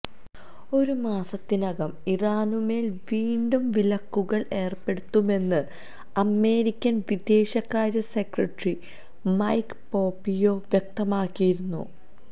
ഒരു മാസത്തിനകം ഇറാനുമേല് വീണ്ടും വിലക്കുകള് ഏര്പ്പെടുത്തുമെന്ന് അമേരിക്കന് വിദേശകാര്യ സെക്രട്ടറി മൈക്ക് പോപിയോ വ്യക്തമാക്കിയിരുന്നു